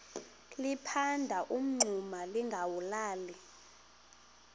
liphanda umngxuma lingawulali